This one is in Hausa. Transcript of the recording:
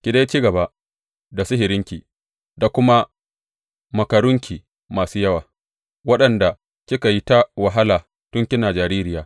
Ki dai ci gaba, da sihirinki da kuma makarunki masu yawa, waɗanda kika yi ta wahala tun kina jaririya.